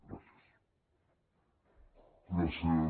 gràcies